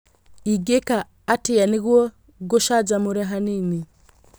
Ingĩka atĩa nĩguo ngũcanjamũre hanini